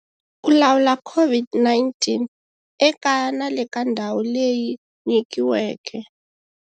Ku lawula COVID-19- Ekaya na le ka ndhawu leyi nyikiweke.